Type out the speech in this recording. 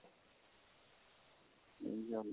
ਇਹੀ ਜਾਂਦੇ